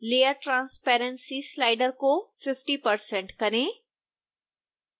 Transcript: layer transparency slider को 50 % करें